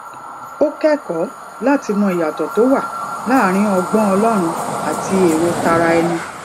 ó kékòó láti mọ ìyàtò tó wà láàárín ọgbón ọlórun àti èrò tara ẹni